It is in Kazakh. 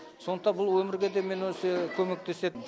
сондықтан бұл өмірге де міне осы көмектеседі